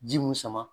Ji mun sama